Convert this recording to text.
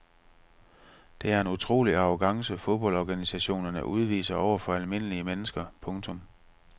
Det er en utrolig arrogance fodboldorganisationerne udviser over for almindelige mennesker. punktum